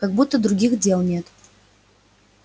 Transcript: как будто других дел нет